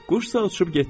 Quşsa uçub getdi.